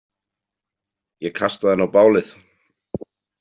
Ég kastaði henni á bálið.